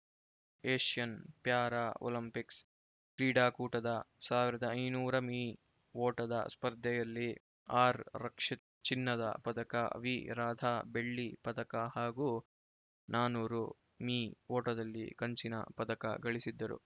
Asian Para Olympics ಕ್ರೀಡಾಕೂಟದ ಸಾವಿರದ ಐದುನೂರ ಮೀ ಓಟದ ಸ್ಪರ್ಧೆಯಲ್ಲಿ ಆರ್‌ರಕ್ಷಿತ್ ಚಿನ್ನದ ಪದಕ ವಿ ರಾಧಾ ಬೆಳ್ಳಿ ಪದಕ ಹಾಗೂ ನಾಲ್ಕುನೂರು ಮೀ ಓಟದಲ್ಲಿ ಕಂಚಿನ ಪದಕ ಗಳಿಸಿದ್ದರು